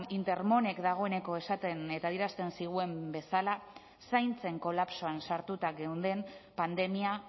intermonek dagoeneko esaten eta adierazten zigun bezala zaintzen kolapsoan sartuta geunden pandemia